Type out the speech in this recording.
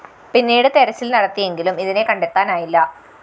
പിന്നീട് തെരച്ചില്‍ നടത്തിയെങ്കിലും ഇതിനെ കണ്ടെത്താനായില്ല